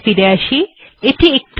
এখানে ফিরে আসা যাক